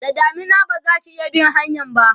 da damina bazaki iya bin hanyan ba